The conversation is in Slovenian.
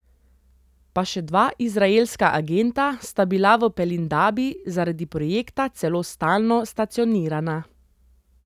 Pa še dva izraelska agenta sta bila v Pelindabi zaradi projekta celo stalno stacionirana.